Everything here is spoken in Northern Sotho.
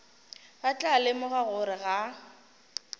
ba tla lemoga gore ga